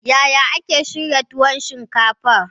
Yaya ake shirya tuwon shinkafa?